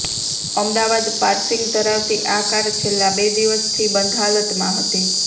Ahmedabad passing ધરાવતી આ car છેલ્લા બે દિવસથી બંધ હાલતમાં હતી